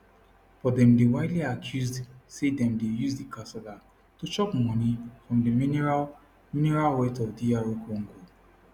but dem dey widely accused say dem dey use di kasala to chop money from di mineral mineral wealth of dr congo